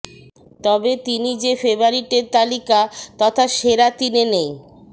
তবে তিনি যে ফেবারিটের তালিকা তথা সেরা তিনে নেই